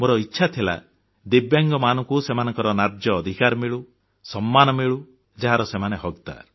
ମୋର ଇଚ୍ଛା ଥିଲା ଦିବ୍ୟାଙ୍ଗମାନଙ୍କୁ ସେମାନଙ୍କ ନ୍ୟାଯ୍ୟ ଅଧିକାର ମିଳୁ ସମ୍ମାନ ମିଳୁ ଯାହାର ସେମାନେ ହକଦ